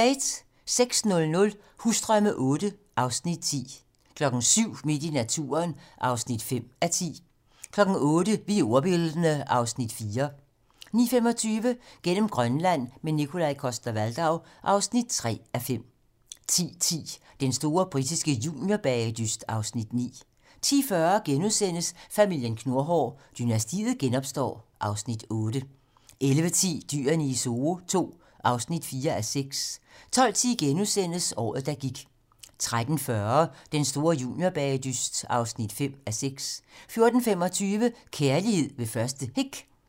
06:00: Husdrømme VIII (Afs. 10) 07:00: Midt i naturen (5:10) 08:00: Vi er ordbildne (Afs. 4) 09:25: Gennem Grønland - med Nikolaj Coster-Waldau (3:5) 10:10: Den store britiske juniorbagedyst (Afs. 9) 10:40: Familien Knurhår: Dynastiet genopstår (Afs. 8)* 11:10: Dyrene i Zoo II (4:6) 12:10: Året, der gik * 13:40: Den store juniorbagedyst (5:6) 14:25: Kærlighed ved første hik